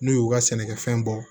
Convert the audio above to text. N'u y'u ka sɛnɛkɛfɛn bɔ